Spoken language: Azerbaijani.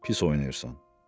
Pis oynayırsan.